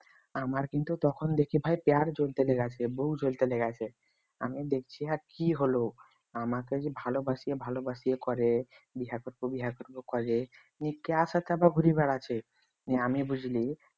আমার কিন্তু তখন দেখে ভাই পেট জ্বলতে লেগেছে বুক জ্বলতে লেগেছে আমি দেখছি আ কি হলো আমাকে যে ভালোবাসি এ ভালবাসিয়ে করে বিয়ে করবো বিয়ে করবো করে নিয়ে কার সাথে ঘুরে বেড়াচ্ছে নিয়ে আমি বুঝলি